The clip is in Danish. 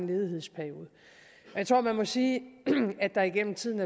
ledighedsperiode jeg tror man må sige at der gennem tiden